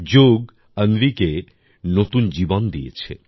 যোগ অন্বিকে নতুন জীবন দিয়েছে